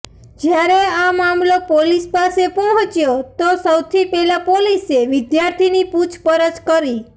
જ્યારે આ મામલો પોલીસ પાસે પહોંચ્યો તો સૌથી પહેલાં પોલીસે વિદ્યાર્થીની પૂછપરછ કરી